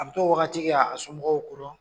An bɛ t'o wagati kɛ k'a somɔgɔw ko don.